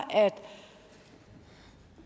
at